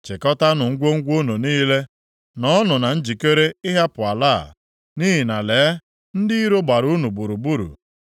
Chịkọtaanụ ngwongwo unu niile; nọọnụ na njikere ịhapụ ala a, nʼihi na lee, ndị iro gbara unu gburugburu.